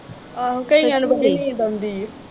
ਆਹੋ। ਕਈ ਵਾਰ ਬੜੀ ਨੀਂਦ ਆਉਂਦੀ ਆ।